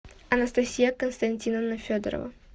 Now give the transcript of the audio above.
анастасия константиновна федорова